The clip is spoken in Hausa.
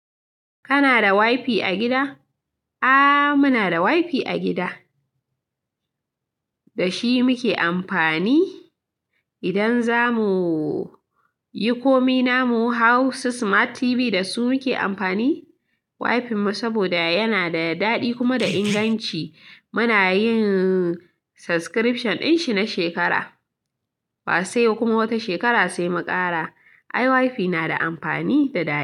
Kana da wifi a gida? Aaa, muna da wifi a gida, da shi muke amfani idan za mu yi komai. Na mu Hausa Smart TV da su muke amfani wifin mu saboda yana da daɗi kuma da inganci. Muna yin subscription din shi na shekara, ba sai kuma wata shekara sai mu ƙara. Ai, wifi na da amfani da daɗi.